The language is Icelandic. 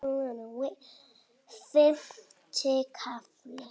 Fimmti kafli